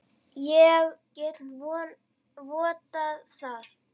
Ég get vottað það.